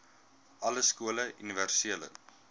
alle skole universele